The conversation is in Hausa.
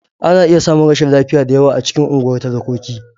Ana iya samun rashin lafiya da yawa a cikin unguwar talakoki.